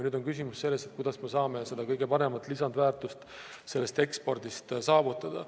Nüüd on küsimus selles, kuidas me saame seda kõige suuremat lisandväärtust sellest ekspordist saavutada.